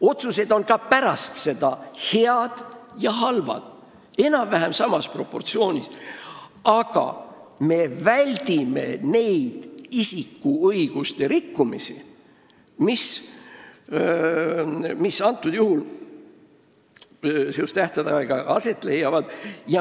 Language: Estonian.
Otsused on ka pärast seda head ja halvad – enam-vähem samas proportsioonis –, aga me väldime neid isikuõiguste rikkumisi, mis tähtaegadega seotult aset leiavad.